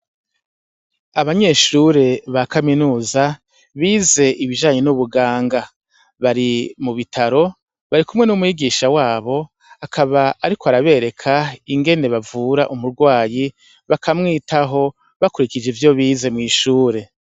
Abanyeshure bakaminuza bize ibijanye n'ubuganga bari mubitaro barikumwe nu mwigisha wabo akaba ariko arabereka ingene bavura umurwayi baka mwitaho bakurikije ivyo bize mw'ishure.